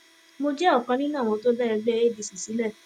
mo jẹ ọkan nínú àwọn tó dá ẹgbẹ adc sílẹ